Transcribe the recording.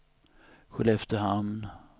Skelleftehamn